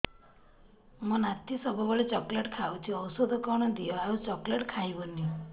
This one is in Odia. ମୋ ନାତି ସବୁବେଳେ ଚକଲେଟ ଖାଉଛି ଔଷଧ କଣ ଦିଅ ଆଉ ଚକଲେଟ ଖାଇବନି